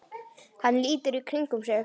Hann lítur í kringum sig.